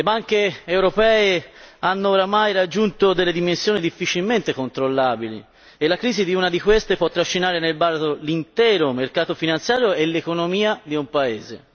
Le banche europee hanno ormai raggiunto dimensioni difficilmente controllabili e la crisi di una di esse può trascinare nel baratro l'intero mercato finanziario e l'economia di un paese